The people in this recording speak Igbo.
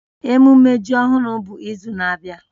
Ememme ji ọhụrụ bụ izu na-abịa